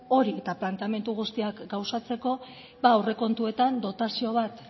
hori eta planteamendu guztiak gauzatzeko aurrekontuetan dotazio bat